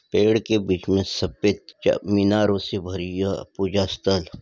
पेड़ के बीच में सपेद् च मीनारों से भरी यह पूजा स्थल --